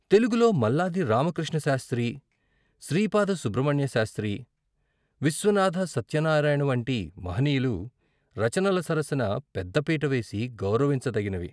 తెలుగులో మల్లాది రామకృష్ణ శాస్త్రి, శ్రీపాద సుబ్రహ్మణ్య శాస్త్రి, విశ్వనాథ సత్యనారాయణ వంటి మహనీయులు రచనల సరసన పెద్దపీట వేసి గౌరవించ తగినవి.